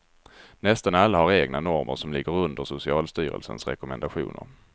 Nästan alla har egna normer som ligger under socialstyrelsens rekommendationer.